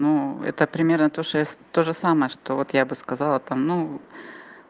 ну это примерно тоже тоже самое что вот я бы сказала там ну